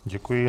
Děkuji.